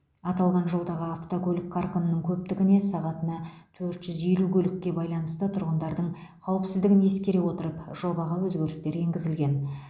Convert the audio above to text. аталған жолдағы автокөлік қарқынының көптігіне сағатына төрт жүз елу көлікке байланысты тұрғындардың қауіпсіздігін ескере отырып жобаға өзгерістер енгізілген